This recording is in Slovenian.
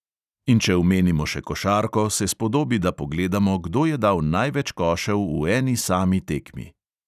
In če omenimo še košarko, se spodobi, da pogledamo, kdo je dal največ košev v eni sami tekmi.